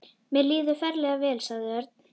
Mér líður ferlega vel, sagði Örn.